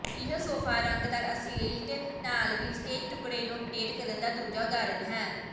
ਇਹ ਸੋਫਾ ਰੰਗਦਾਰ ਅਸਿੱਲਟ ਨਾਲ ਵਿੰਸਟੇਜ ਟੁਕੜੇ ਨੂੰ ਅਪਡੇਟ ਕਰਨ ਦਾ ਦੂਜਾ ਉਦਾਹਰਣ ਹੈ